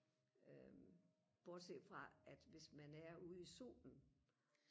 øh bortset fra at hvis man er ude i solen